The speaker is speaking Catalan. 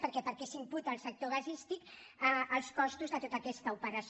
per què perquè s’imputen al sector gasístic els costos de tota aquesta operació